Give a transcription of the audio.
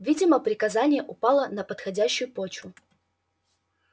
видимо приказание упало на подходящую почву